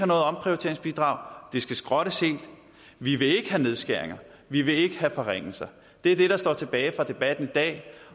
noget omprioriteringsbidrag det skal skrottes helt vi vil ikke have nedskæringer vi vil ikke have forringelser det er det der står tilbage fra debatten i dag